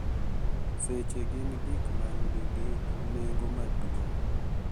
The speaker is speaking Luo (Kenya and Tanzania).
Seche gin gik ma nigi nengo maduong’,